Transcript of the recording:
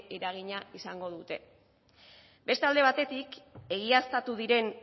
eragina izango dute beste alde batetik egiaztatu diren